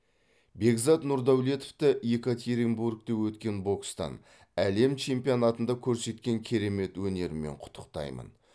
бекзат нұрдәулетовті екатеринбургте өткен бокстан әлем чемпионатында көрсеткен керемет өнерімен құттықтаймын